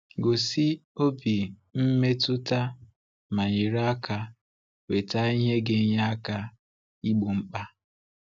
Gosi obi mmetụta ma nyere aka weta ihe ga-enye aka igbo mkpa!